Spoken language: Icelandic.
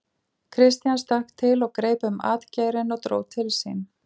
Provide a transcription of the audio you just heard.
Christian stökk til og greip um atgeirinn og dró til sín.